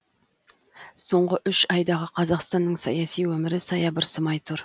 соңғы үш айдағы қазақстанның саяси өмірі саябырсымай тұр